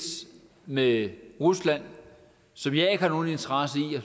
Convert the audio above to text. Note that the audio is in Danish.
med rusland som jeg ikke har nogen interesse i og